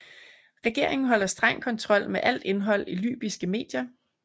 Regeringen holder streng kontrol med alt indhold i libyske medier